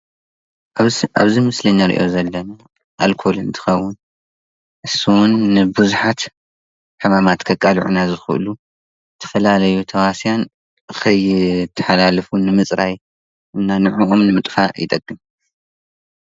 ኣብዚ ምስሊ እንርእዮ ዘለና ኣልኮል እንትኸዉን ስሙ ንቡዝሓት ሕማማት ከቃልዑና ዝኽእሉ ዝተፈላለዩ ተሃዋስያን ከይተሓላልፉ ንምጽራይ እና ንዕዑ ንምጥፋእ ይጠቅም።